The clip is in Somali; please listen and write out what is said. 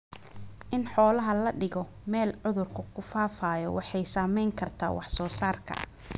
In xoolaha la dhigo meel cudurku ku faafayo waxay saamayn kartaa wax soo saarka.